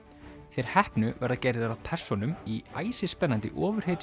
þeir heppnu verða gerðir að persónum í æsispennandi